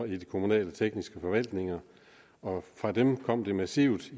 de kommunale tekniske forvaltninger og fra dem kom det massivt